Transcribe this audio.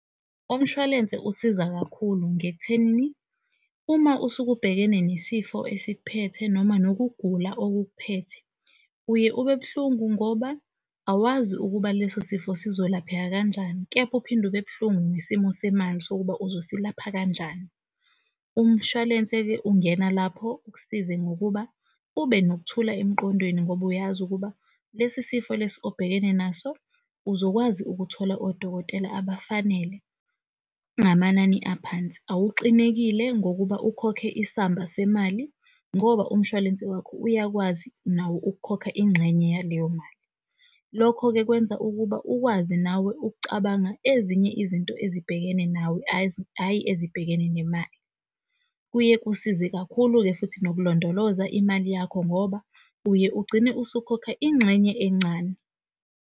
Umshwalense osiza kakhulu nje ekuthenini uma usuke ubhekene nesifo esik'phethe noma nokugula okuk'phethe, uye ube buhlungu ngoba awazi ukuba leso sifo sizolapheka kanjani kepha uphinde ube buhlungu nesimo semali sokuba uzosilapha kanjani. Umshwalense-ke ungena lapho ukusize ngokuba ube nokuthula emqondweni ngoba uyazi ukuba lesi sifo lesi obhekene naso uzokwazi ukuthola odokotela abafanele ngamanani aphansi. Awuxinekile ngokuba ukhokhe isamba semali ngoba umshwalense wakho uyakwazi nawo ukukhokha ingxenye yaleyo mali. Lokho-ke kwenza ukuba ukwazi nawe uk'cabanga ezinye izinto ezibhekene nawe hhayi ezibhekene nemali. Kuye kusize kakhulu-ke futhi nokulondoloza imali yakho ngoba uye ugcine usukhokha ingxenye encane.